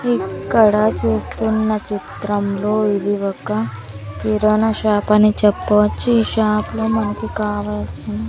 ఇక్కడ చూస్తున్న చిత్రంలో ఇది ఒక కిరాణా షాప్ అని చెప్పవచ్చు. ఈ షాప్ లో మనకి కావాల్సిన --